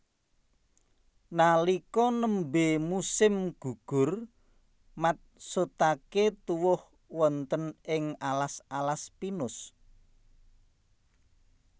Nalika nembé musim gugur matsutaké tuwuh wonten ing alas alas pinus